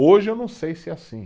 Hoje eu não sei se é assim.